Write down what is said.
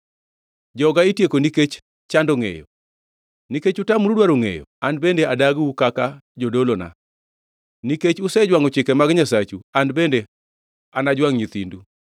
Joga itieko nikech chando ngʼeyo. “Nikech utamoru dwaro ngʼeyo, an bende adagiu kaka jodolona; nikech usejwangʼo chike mag Nyasachu, an bende anajwangʼ nyithindu.